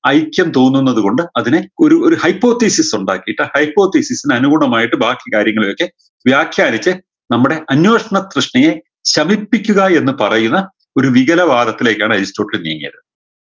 ഐക്യം തോന്നുന്നത് കൊണ്ട് അതിനെ ഒരു ഒരു hypothesis ഉണ്ടാക്കിയിട്ട് hyopothesis നെ അനുകൂണമായിട്ട് ബാക്കി കാര്യങ്ങളെയൊക്കെ വ്യാഖ്യാനിച്ച് നമ്മുടെ അന്വേഷ്ണ പ്രശ്ണിയെ ശമിപ്പിക്കുക എന്ന് പറയുന്ന ഒരു വികല വാദത്തിലേക്കാണ് അരിസ്റ്റോട്ടിൽ നീങ്ങിയത്